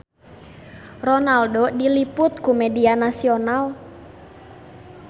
Ronaldo diliput ku media nasional